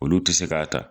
Olu tɛ se k'a ta